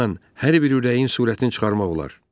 Onunla hər bir ürəyin surətini çıxarmaq olar.